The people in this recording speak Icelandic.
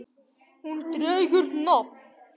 Hún dregur nafn af